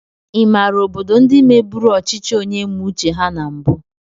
Ịmàrà obodo ndị mebụrụ ọchịchị onye mee uche ha na mbu?